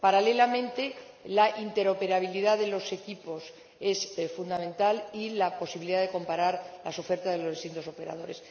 Paralelamente, la interoperabilidad de los equipos es fundamental, así como la posibilidad de comparar las ofertas de los distintos operadores.